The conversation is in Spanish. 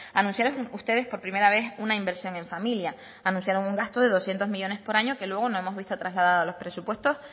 anunciaron ustedes por primera vez una inversión en familia anunciaron un gasto de doscientos millónes por año que luego no hemos visto trasladada a los presupuesto